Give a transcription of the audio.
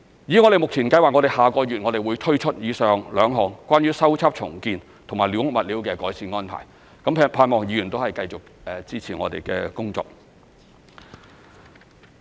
我們目前計劃於下個月推出以上兩項關於修葺/重建及寮屋物料的改善安排，盼望議員繼續支持我們的工作。